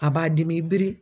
A b'a dimi i biri